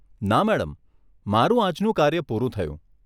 ના મેડમ, મારું આજનું કાર્ય પૂરું થયું.